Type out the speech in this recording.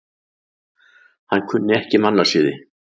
Hann kunni ekki mannasiði.